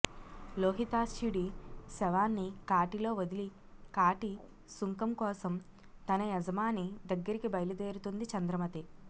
లోహితాస్యుడి శవాన్ని కాటిలో వదిలి కాటి సుంకం కోసం తన యజమాని దగ్గరికి బయలుదేరుతుంది చంద్రమతి